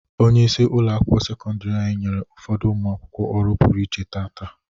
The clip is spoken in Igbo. Onyeisi ụlọ akwụkwọ sekọndiri anyị nyere ụfọdụ ụmụ akwụkwọ ọrụ pụrụ iche taata.